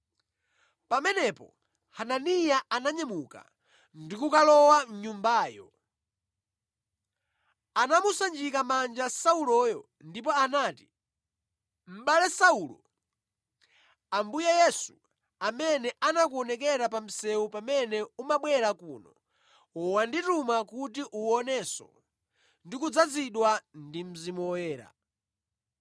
Pamenepo Hananiya ananyamuka ndi kukalowa mʼnyumbayo. Anamusanjika manja Sauloyo ndipo anati, “Mʼbale Saulo, Ambuye Yesu, amene anakuonekera pa msewu pamene umabwera kuno wandituma kuti uwonenso ndi kudzazidwa ndi Mzimu Woyera.”